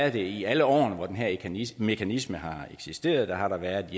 i alle årene hvor den her mekanisme mekanisme har eksisteret været